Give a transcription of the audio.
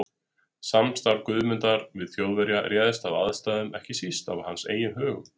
Samstarf Guðmundar við Þjóðverja réðst af aðstæðum og ekki síst af hans eigin högum.